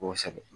Kosɛbɛ